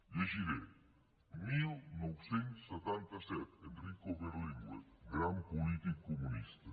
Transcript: llegiré dinou setanta set enrico berlinguer gran polític comunista